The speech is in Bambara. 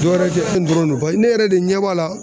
Dɔwɛrɛ ko nin dɔrɔn no paye ne yɛrɛ de ɲɛ b'a la